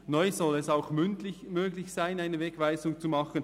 Neu soll es auch mündlich möglich sein, eine Wegweisung zu vorzunehmen.